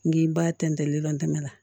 N'i b'a tɛntɛn lilɔntɛmɛ la